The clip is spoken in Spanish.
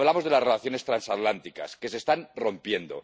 Y hablamos de las relaciones transatlánticas, que se están rompiendo.